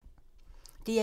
DR1